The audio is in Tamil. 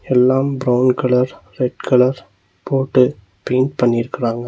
எல்லாம் பிரவுன் கலர் ரெட் கலர் போட்டு பெயிண்ட் பண்ணிருக்குறாங்க.